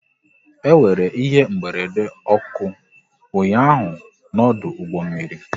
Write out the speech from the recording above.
E nwere ihe mberede ọkụ ụnyaahụ n'ọdụ ụgbọ mmiri